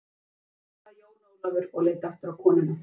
Nei, svaraði Jón Ólafur og leit aftur á konuna.